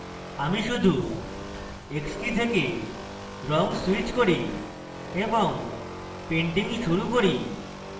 আমি শুধু x key থেকে রঙ switch key এবং painting শুরু key